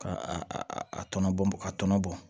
Ka a a tɔnɔ bɔ a tɔnɔ bɔ